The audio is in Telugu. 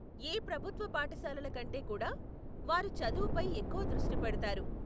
ఏ ప్రభుత్వ పాఠశాలల కంటే కూడా వారు చదువుపై ఎక్కువ దృష్టి పెడతారు.